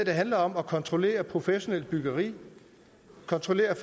handler om at kontrollere professionelt byggeri kontrollere